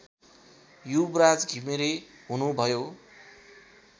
युवराज घिमिरे हुनुभयो